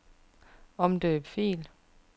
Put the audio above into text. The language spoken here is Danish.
Omdøb fil.